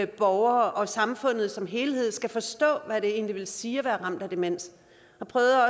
borgere og samfundet som helhed skal forstå hvad det egentlig vil sige at være ramt af demens jeg prøvede